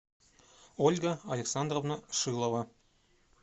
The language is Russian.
ольга александровна шилова